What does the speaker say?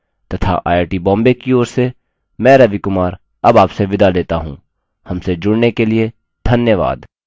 यह स्क्रिप्ट सकीना शेख द्वारा अनुवादित है तथा आई आई टी बॉम्बे की ओर से मैं रवि कुमार अब आपसे विदा लेता हूँ हमसे जुड़ने के लिए धन्यवाद